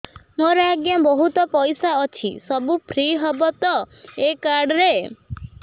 ମୋର ଆଜ୍ଞା ବହୁତ ପଇସା ଅଛି ସବୁ ଫ୍ରି ହବ ତ ଏ କାର୍ଡ ରେ